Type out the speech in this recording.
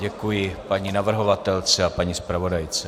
Děkuji paní navrhovatelce a paní zpravodajce.